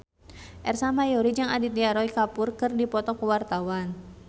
Ersa Mayori jeung Aditya Roy Kapoor keur dipoto ku wartawan